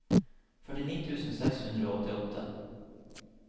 førtini tusen seks hundre og åttiåtte